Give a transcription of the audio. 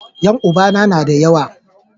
yan uba na na da yawa